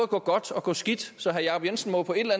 gå godt og gå skidt så herre jacob jensen må jo på et eller